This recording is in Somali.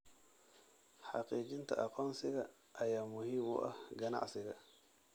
Xaqiijinta aqoonsiga ayaa muhiim u ah ganacsiga.